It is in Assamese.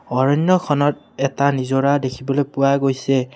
অৰণ্যখনত এটা নিজৰা দেখিবলৈ পোৱা গৈছে।